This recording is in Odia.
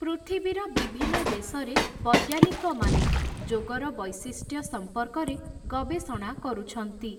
ପୃଥିବୀର ବିଭିନ୍ନ ଦେଶରେ, ବୈଜ୍ଞାନିକମାନେ, ଯୋଗର ବୈଶିଷ୍ଟ୍ୟ ସମ୍ପର୍କରେ, ଗବେଷଣା କରୁଛନ୍ତି ।